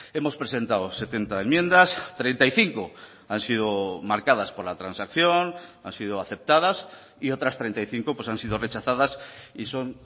hemos presentado setenta enmiendas treinta y cinco han sido marcadas por la transacción han sido aceptadas y otras treinta y cinco han sido rechazadas y son